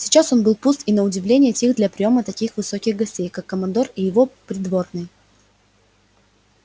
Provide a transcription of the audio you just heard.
сейчас он был пуст и на удивление тих для приёма таких высоких гостей как командор и его придворные